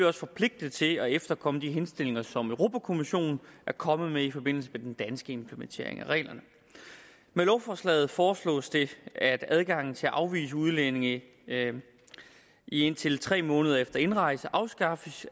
også forpligtet til at efterkomme de henstillinger som europa kommissionen er kommet med i forbindelse med den danske implementering af reglerne med lovforslaget foreslås det at adgangen til at afvise udlændinge i indtil tre måneder efter indrejse afskaffes